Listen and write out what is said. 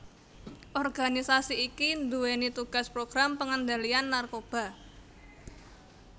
Organisasi iki nduwèni tugas program pengendalian narkoba